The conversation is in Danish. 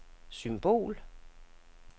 symbol